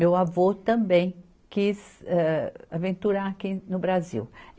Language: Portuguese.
Meu avô também quis, eh aventurar aqui no Brasil.